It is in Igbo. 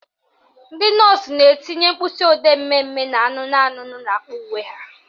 Ndị nọọsụ na-etinye mkpịsịodee mmemme na anụnụ anụnụ n'akpa uwe ha